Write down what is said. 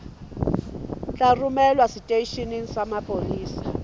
tla romelwa seteisheneng sa mapolesa